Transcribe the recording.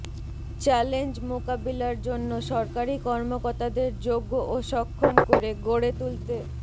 challenge মোকাবিলার জন্য সরকারি কর্মকর্তাদের যোগ্য ও সক্ষম করে গড়ে তুলতে